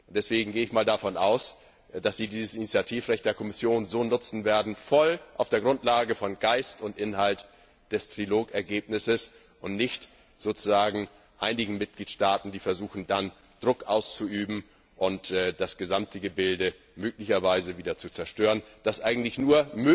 Deswegen gehe ich davon aus, dass Sie dieses Initiativrecht der Kommission so nutzen werden voll auf der Grundlage von Geist und Inhalt des Trilogergebnisses, und dass nicht einige Mitgliedstaaten versuchen, dann Druck auszuüben, und das gesamte Gebilde möglicherweise wieder zerstören, das eigentlich nur